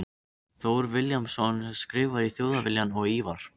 Thor Vilhjálmsson skrifar í Þjóðviljann og Ívar